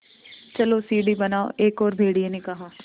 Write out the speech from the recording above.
चलो सीढ़ी बनाओ एक और भेड़िए ने कहा